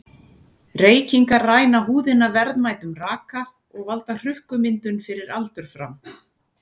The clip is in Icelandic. Reykingar ræna húðina verðmætum raka og valda hrukkumyndun fyrir aldur fram.